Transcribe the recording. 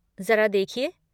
ज़रा देखिए।